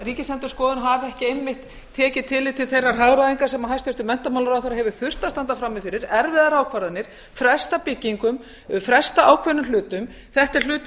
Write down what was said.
hafi ekki einmitt tekið tillit til þeirrar hagræðingar sem hæstvirtur menntamálaráðherra hefur þurft að standa frammi fyrir erfiðar ákvarðanir fresta byggingum fresta ákveðnum hlutum þetta er hlutur